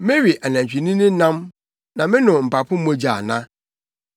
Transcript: Mewe anantwinini nam, na menom mpapo mogya ana?